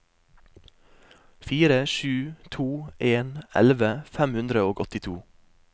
fire sju to en elleve fem hundre og åttito